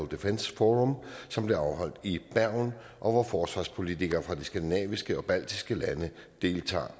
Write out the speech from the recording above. defence forum som blev afholdt i bergen og hvor forsvarspolitikere fra de skandinaviske og baltiske lande deltog